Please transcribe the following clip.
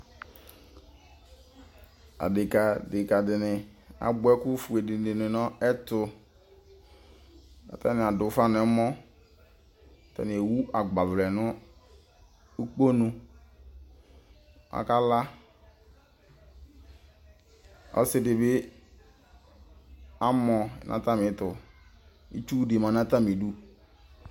Adekǝ dɩnɩ abʋa ɛkʋ fue dɩnɩ dʋ nʋ ɛtʋ, kʋ atanɩ adʋ ʋfa nʋ ɛmɔ, kʋ atanɩ ewu agbavlɛ nʋ ukponu, akala, ɔsɩ dɩ bɩ amɔ nʋ atamɩ ɛtʋ, itsu dɩ ma nʋ atamɩ idu